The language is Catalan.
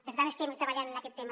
per tant estem treballant en aquest tema